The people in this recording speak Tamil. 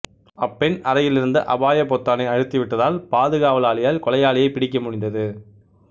அப்பெண் அறையிலிருந்த அபாயப் பொத்தானை அழுத்திவிட்டதால் பாதுகாவலாளியால் கொலையாளியைப் பிடிக்கமுடிந்தது